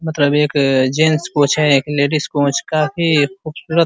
मतलब एक gents coach है। एक लेडीज कोच काफी खूबसूरत --